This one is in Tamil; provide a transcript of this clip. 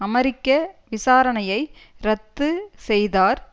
அமெரிக்க விசாரணையை ரத்து செய்தார்